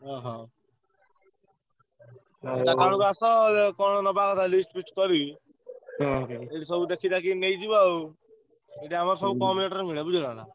ଓହୋ! ସେଠି ଆମର ସବୁ କମ୍ rate ରେ ମିଳେ ବୁଝିଲ ନାଁ।